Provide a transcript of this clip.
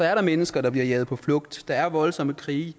er der mennesker der bliver jaget på flugt der er voldsomme krige